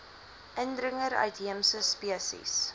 indringer uitheemse spesies